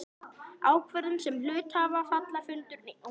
ákvörðun sem hluthafafundur einn getur tekið.